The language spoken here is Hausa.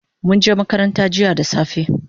Munje makaranta jiya da safe